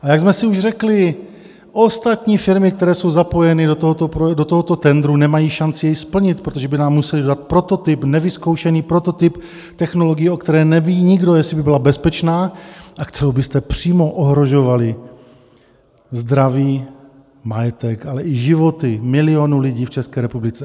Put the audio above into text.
A jak jsme si už řekli, ostatní firmy, které jsou zapojeny do tohoto tendru, nemají šanci jej splnit, protože by nám musely dodat prototyp, nevyzkoušený prototyp technologie, o které neví nikdo, jestli by byla bezpečná a kterou byste přímo ohrožovali zdraví, majetek, ale i životy milionů lidí v České republice.